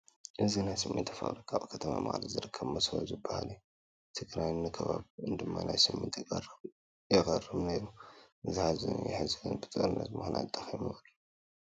እዚ ናይ ስሚንቶ ፋብሪካ ኣብ ከተማ መቐለ ዝርከብ መሶቦ ዝበሃል እዩ፡፡ ንትግራይን ንከባቢኡን ድማ ናይ ስሚንቶ ቀረብ የቕርብ ነይሩ፡፡ ዘሕዝን እዩ፡፡ ሕዚ ግን ብጦርነት ምኽንያት ደኺሙ እዩ፡፡